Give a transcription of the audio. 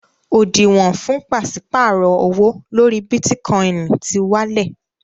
Òdìwọ̀n fún pàṣípàrọ̀ owó lórí Bítíkọinì ti wálẹ̀.